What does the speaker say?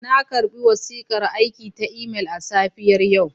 Na karɓi wasiƙar aiki ta imel a safiyar yau.